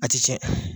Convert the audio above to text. A ti tiɲɛ